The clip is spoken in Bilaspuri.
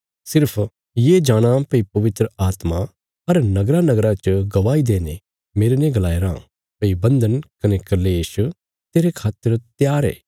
सिर्फ ये जाणाँ भई पवित्र आत्मा हर नगरानगरा च गवाही देईने मेरने गलाया राँ भई बन्धन कने क्लेश तेरे खातर त्यार ये